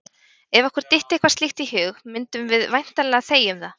Ef okkur dytti eitthvað slíkt í hug mundum við væntanlega þegja um það!